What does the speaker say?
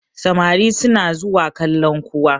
samari suna zuwa kallan kuwa